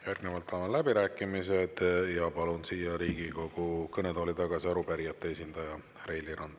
Järgnevalt avan läbirääkimised ja palun siia Riigikogu kõnetooli tagasi arupärijate esindaja Raili Ranna.